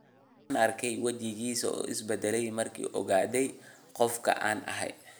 Waxaan arkay wajigiisa oo is bedelay mar uu ogaaday qofka aan ahay.